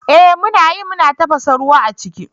Eh muna yi, muna tafasa ruwa a ciki.